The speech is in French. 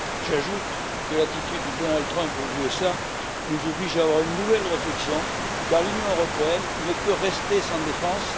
J'ajoute que l'attitude de Donald Trump aux États Unis nous oblige à avoir une nouvelle réflexion, car l'Union européenne ne peut rester sans défense.